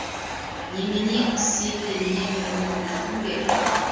немене сен де менен үміт үздің бе